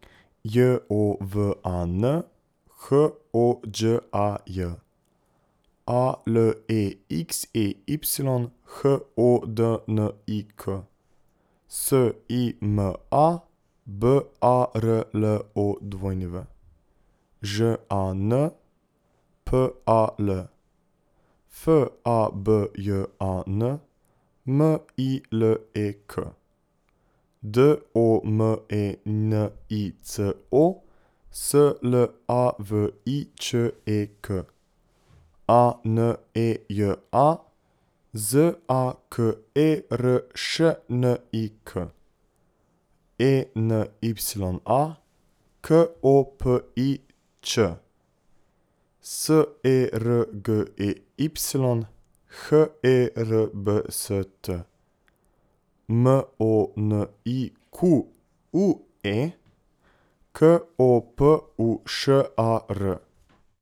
J O V A N, H O Đ A J; A L E X E Y, H O D N I K; S I M A, B A R L O W; Ž A N, P A L; F A B J A N, M I L E K; D O M E N I C O, S L A V I Č E K; A N E J A, Z A K E R Š N I K; E N Y A, K O P I Ć; S E R G E Y, H E R B S T; M O N I Q U E, K O P U Š A R.